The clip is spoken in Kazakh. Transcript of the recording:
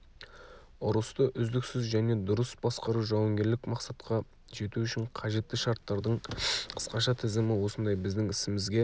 ұрысты үздіксіз және дұрыс басқару жауынгерлік мақсатқа жету үшін қажетті шарттардың қысқаша тізімі осындай біздің ісімізге